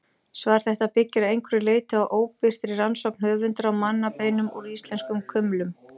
Svar þetta byggir að einhverju leyti á óbirtri rannsókn höfundar á mannabeinum úr íslenskum kumlum.